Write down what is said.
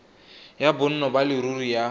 ya bonno ba leruri ya